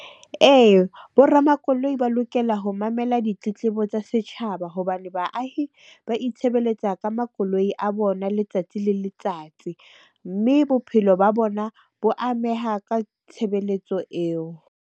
Ee, bo ramakoloi ba lokela ho mamela ditletlebo tsa setjhaba hobane baahi ba itshebeletsa ka makoloi a bona letsatsi le letsatsi. Mme bophelo ba bona bo ameha ka tshebeletso eo.